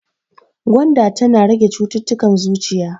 Gwanda tana rage cittutukan zuciya.